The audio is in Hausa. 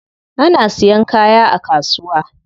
Ana siyan kaya a kasuwa.